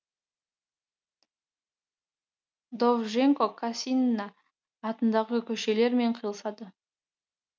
довженко кассина атындағы көшелермен қиылысады